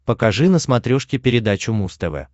покажи на смотрешке передачу муз тв